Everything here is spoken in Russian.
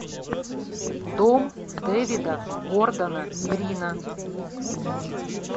дом дэвида гордона грина